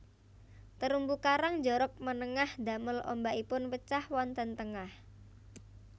Terumbu karang njorok manengah ndamel ombakipun pecah wonten tengah